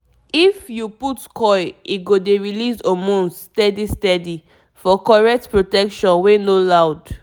if u put coil e go dey release hormones steady steady - for correct protection wey no loud